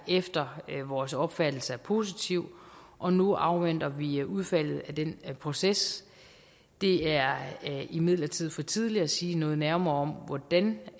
efter vores opfattelse er positiv og nu afventer vi udfaldet af den proces det er imidlertid for tidligt at sige noget nærmere om hvordan